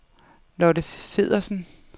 Lotte Feddersen